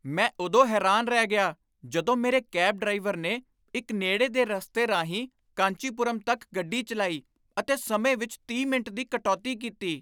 ਮੈਂ ਉਦੋਂ ਹੈਰਾਨ ਰਹਿ ਗਿਆ ਜਦੋਂ ਮੇਰੇ ਕੈਬ ਡਰਾਈਵਰ ਨੇ ਇੱਕ ਨੇੜੇ ਦੇ ਰਾਸਤੇ ਰਾਹੀਂ ਕਾਂਚੀਪੁਰਮ ਤੱਕ ਗੱਡੀ ਚੱਲਾਈ ਅਤੇ ਸਮੇਂ ਵਿੱਚ ਤੀਹ ਮਿੰਟ ਦੀ ਕਟੌਤੀ ਕੀਤੀ!